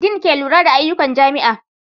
Din ke lura da ayyukan jami'a.